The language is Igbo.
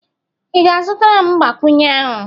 ị ga-azụtara m mgbakwunye ahụ?